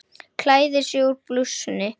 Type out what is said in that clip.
Klæðir sig úr blússunni.